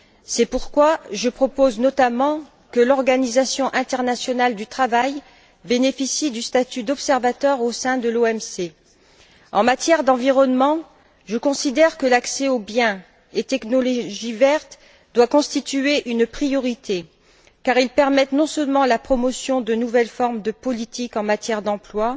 C'est pourquoi je propose notamment que l'Organisation internationale du travail bénéficie du statut d'observateur au sein de l'OMC. En matière d'environnement, je considère que l'accès aux biens et technologies vertes doit constituer une priorité car ils permettent non seulement la promotion de nouvelles formes de politique en matière d'emploi,